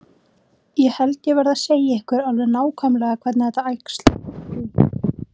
Ég held ég verði að segja ykkur alveg nákvæmlega hvernig það æxlaðist til.